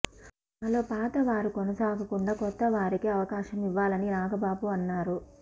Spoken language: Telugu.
మా లో పాత వారు కొనసాగకుండా కొత్తవారికి అవకాశం ఇవ్వాలని నాగబాబు అన్నారు